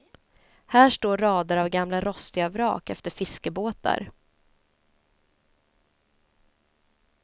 Här står rader av gamla rostiga vrak efter fiskebåtar.